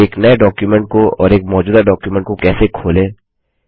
एक नए डॉक्युमेंट को और एक मौजूदा डॉक्युमेंट को कैसे खोलें